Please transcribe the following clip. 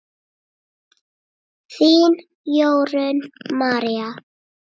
Þín, Jórunn María.